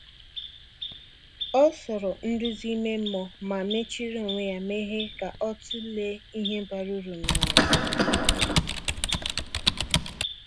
O soro nduzi ime mmụọ, ma mechiri onwe ya meghe ka o tụlee ihe bara uru n’ụwa.